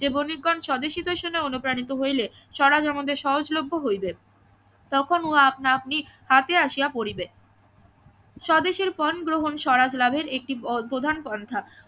যে বণিকগণ স্বদেশ হিতৈষণা এ অনুপ্রাণিত হইলে স্বরাজ আমাদের সহজ লভ্য হইবে তখন ও আপনা আপনি হাতে আসিয়া পড়িবে স্বদেশ এর পন গ্রহণ স্বরাজ লাভের একটি প্রধান পন্থা